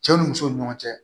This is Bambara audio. Cɛ ni muso ni ɲɔgɔn cɛ